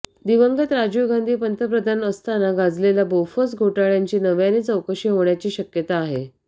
दिवंगत राजीव गांधी पंतप्रधान असताना गाजलेल्या बोफोर्स घोटाळ्याची नव्याने चौकशी होण्याची शक्यता आहे